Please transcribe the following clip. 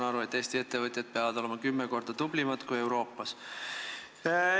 Ma saan aru, et Eesti ettevõtjad peavad olema kümme korda tublimad kui ettevõtjad Euroopas.